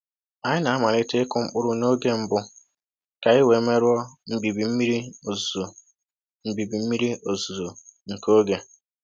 Anyị na-amalite ịkụ mkpụrụ n’oge mbụ ka anyị wee merụọ mbibi mmiri ozuzo mbibi mmiri ozuzo nke oge